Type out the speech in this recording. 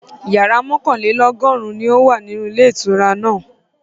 Yàrá mọ́kànlélọ́gọ́rùn-ún ni ó wà nílé ìtura náà.